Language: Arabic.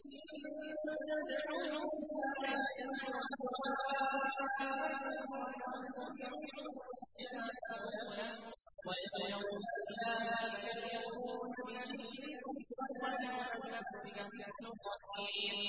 إِن تَدْعُوهُمْ لَا يَسْمَعُوا دُعَاءَكُمْ وَلَوْ سَمِعُوا مَا اسْتَجَابُوا لَكُمْ ۖ وَيَوْمَ الْقِيَامَةِ يَكْفُرُونَ بِشِرْكِكُمْ ۚ وَلَا يُنَبِّئُكَ مِثْلُ خَبِيرٍ